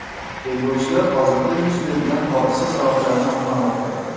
Tergovchilar hozirda yuz bergan hodisa sabablarini aniqlamoqda.